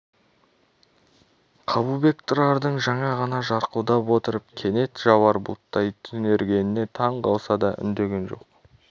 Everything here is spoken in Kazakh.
қабылбек тұрардың жаңа ғана жарқылдап отырып кенет жауар бұлттай түнергеніне таң қалса да үндеген жоқ